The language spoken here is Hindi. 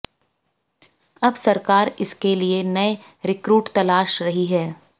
अब सरकार इसके लिए नए रिक्रूट तलाश रही है